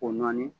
O nɔɔni